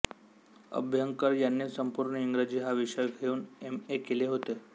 अभ्यंकर यांनी संपूर्ण इंग्रजी हा विषय घेऊन एम ए केले होते